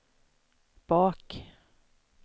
bak